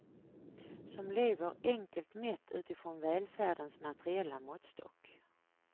Som lever enkelt mätt utifrån välfärdens materiella måttstock.